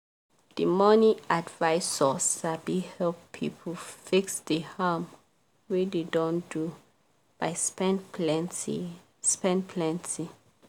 di money advisor sabi help people fix di harm wey dem don do by spend plenty. spend plenty.